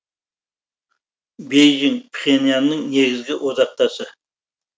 бейжің пхеньянның негізгі одақтасы